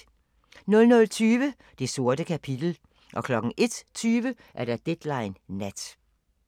00:20: Det sorte kapitel 01:20: Deadline Nat